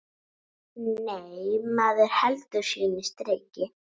Nei, maður heldur sínu striki.